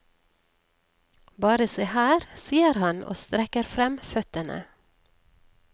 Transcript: Bare se her, sier han og strekker frem føttene.